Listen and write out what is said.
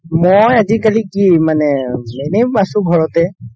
মই আজিকালি কি মানে এনে আছো ঘৰতে